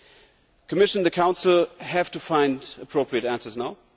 The Commission and the Council have to find appropriate answers now.